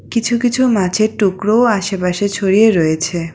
কিছু কিছু মাছের টুকরো আশেপাশে ছড়িয়ে রয়েছে।